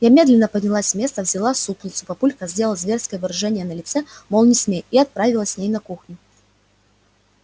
я медленно поднялась с места взяла супницу папулька сделал зверское выражение на лице мол не смей и отправилась с ней на кухню